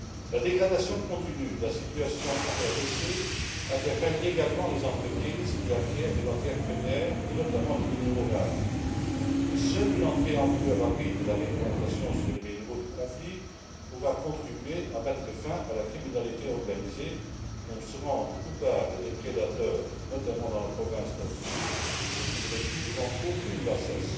La dégradation continue de la situation en RDC interpelle également les entreprises qui acquièrent les matières premières et, notamment, les minerais rares. Seule une entrée en vigueur rapide de la réglementation sur les minerais provenant de zones de conflit pourra contribuer à mettre fin à la criminalité organisée dont se rendent coupables les prédateurs, notamment dans la province Nord Kivu, lesquels ne reculent devant aucune bassesse.